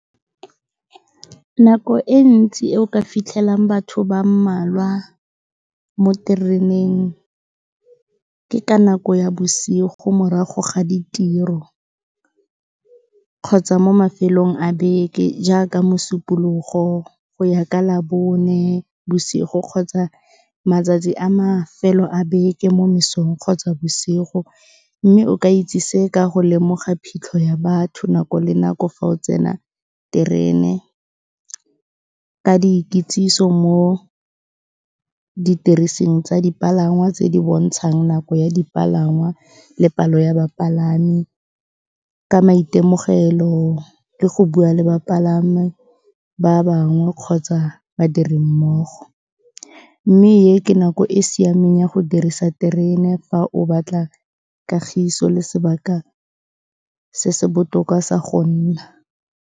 Nako e ntsi e o ka fitlhelang batho ba mmalwa mo tereneng, ke ka nako ya bosigo morago ga ditiro, kgotsa mo mafelong a beke, jaaka Mosupologo go ya ka Labone, bosigo kgotsa matsatsi a mafelo a beke mo mesong kgotsa bosigo, mme o ka itse se ka go lemoga phitlho ya batho nako le nako fa o tsena , ka dikitsiso mo didirising tsa dipalangwa tse di bontshang nako ya dipalangwa le palo ya bapalami, ka maitemogelo le go bua le bapalami ba bangwe kgotsa badiri mmogo, mme e ke nako e siameng ya go dirisa terena fa o batla kagiso le sebaka se se botoka sa go nna.